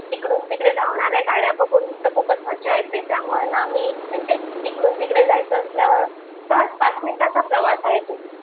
इकडून तिकडे धावणाऱ्या गाड्या बघून तर खूपच मज्जा येते त्यामुळे ना आम्ही म्हणजे तिकडून तिकडे जायचं असल्यावर सहज पाच मिनिटांचा प्रवास आहे तो